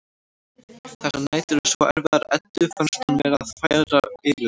Þessar nætur eru svo erfiðar að Eddu finnst hún vera að fara yfir um.